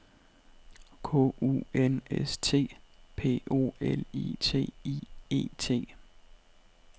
K U N S T P O L I T I E T